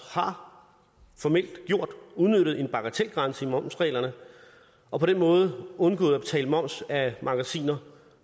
formelt har udnyttet en bagatelgrænse i momsreglerne og på den måde undgået at betale moms af magasiner